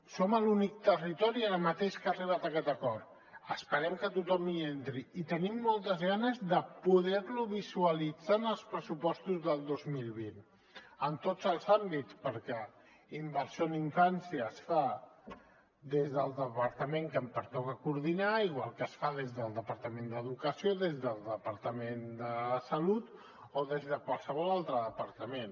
som l’únic territori ara mateix que ha arribat a aquest acord esperem que tothom hi entri i tenim moltes ganes de poder lo visualitzar en els pressupostos del dos mil vint en tots els àmbits perquè d’inversió en infància se’n fa des del departament que em pertoca coordinar igual que se’n fa des del departament d’educació des del departament de salut o des de qualsevol altre departament